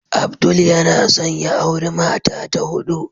Abdul yana son ya auri mata ta hudu.